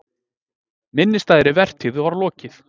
Minnisstæðri vertíð var lokið.